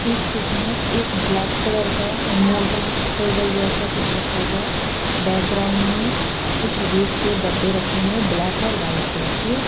इस पिक में एक ब्लैक कलर का मोटर टेबल जैसा कुछ रखा हुआ है बैकग्राउंड में कुछ रेक पे डब्बे रखे हुए है ब्लैक और वाइट कलर के--